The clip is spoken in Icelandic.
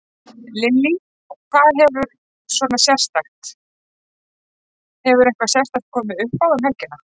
Lillý: Hvað hefur svona sérstakt, hefur eitthvað sérstakt komið uppá um helgina?